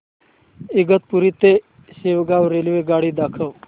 इगतपुरी ते शेगाव रेल्वेगाडी दाखव